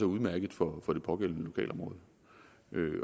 udmærket for det pågældende lokalområde